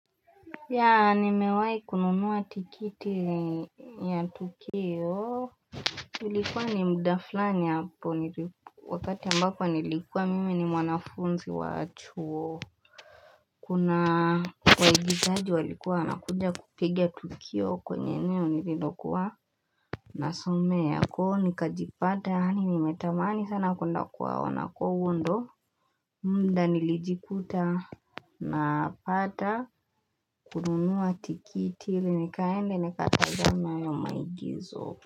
Ya nimewahi kununua tikiti ya tukio nilikuwa ni mda fulani hapo wakati ambako nilikuwa mimi ni mwanafunzi wa chuo kuna waigizaji walikuwa wanakuja kupiga tukio kwenye eneo nililokuwa nasomea kwa hivo nikajipata yaani nimetamani sana kuenda kuwa ona kwa huo ndo mda nilijikuta na pata kununua tikitili ili nikaende nikatazame hayo maigizo.